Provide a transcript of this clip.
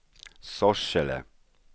Sorsele